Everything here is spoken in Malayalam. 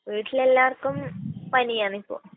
വീട്ടിൽ എല്ലാവർക്കും പനിയാണ് ഇപ്പോൾ.